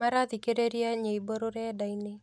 Marathikĩrĩria nyĩmbo rũrenda-inĩ